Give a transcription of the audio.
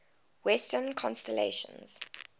western constellations